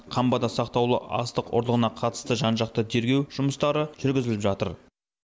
қамбада сақтаулы астық ұрлығына қатысты жан жақты тергеу жұмыстары жүргізіліп жатыр